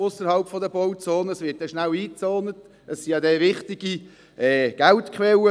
sie können fast nichts mehr machen.